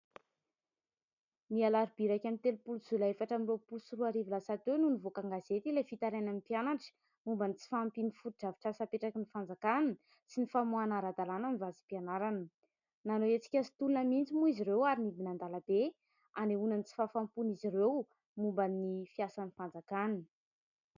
nialaribiraiky amn'ny telompoli zoa ila efatra amn'iro poy soroarivy lasatyeo noho ny voakangazety ilay fitarainamn'ny mpianatra momba ny tsy fampiany foitra avy trasapetraky ny fanjakana sy ny famoana ara-dalàna ny vazim-pianarana nanao etsika sy tolona mintsy moa izy ireo ary nibinan-dalabe anehona ny tsy fahafampony izy ireo momba ny fiasan'ny fanjakana